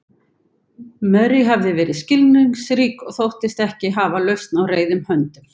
Mary hafði verið skilningsrík og þóttist ekki hafa lausn á reiðum höndum.